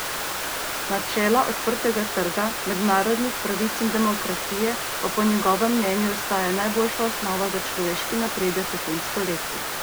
Načela odprtega trga, mednarodnih pravic in demokracije pa po njegovem mnenju ostajajo najboljša osnova za človeški napredek v tem stoletju.